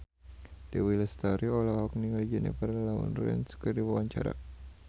Dewi Lestari olohok ningali Jennifer Lawrence keur diwawancara